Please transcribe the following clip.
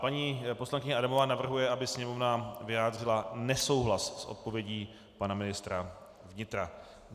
Paní poslankyně Adamová navrhuje, aby Sněmovna vyjádřila nesouhlas s odpovědí pana ministra vnitra.